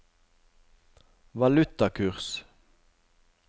valutakurs